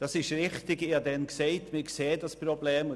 Es ist richtig, ich sagte damals, wir würden das Problem sehen.